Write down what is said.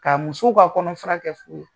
Ka muso k'a kɔnɔfra kɛ fuu ye.